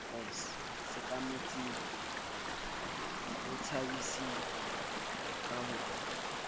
sekametseng ho tshabiseng ka ho